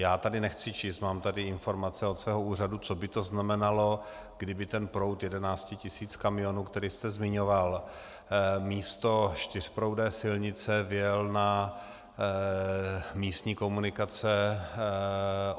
Já tady nechci číst, mám tady informace od svého úřadu, co by to znamenalo, kdyby ten proud 11 tisíc kamionů, který jste zmiňoval, místo čtyřproudé silnice vjel na místní komunikace.